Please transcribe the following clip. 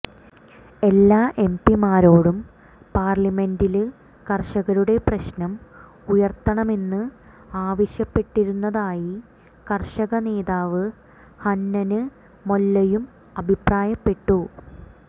എല്ലാ എം പിമാരോടും പാര്ലമെന്റില് കര്ഷകരുടെ പ്രശ്നം ഉയര്ത്തണമെന്ന് ആവശ്യപ്പെട്ടിരുന്നതായി കര്ഷക നേതാവ് ഹന്നന് മൊല്ലയും അഭിപ്രായപ്പെട്ടു